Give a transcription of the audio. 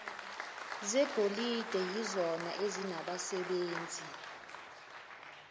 zegolide yizona ezinabasebenzi